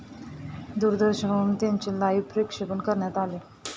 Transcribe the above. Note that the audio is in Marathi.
दूरदर्शनवरून त्याचे लाइव्ह प्रक्षेपण करण्यात आले.